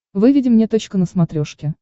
выведи мне точка на смотрешке